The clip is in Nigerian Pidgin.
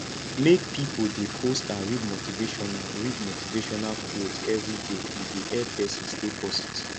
make pipo de post and read motivational read motivational quotes everyday e dey help persin stay positive